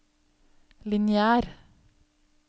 lineær